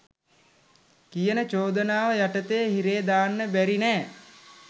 කියන චෝදනාව යටතේ හිරේ දාන්න බැරි නෑ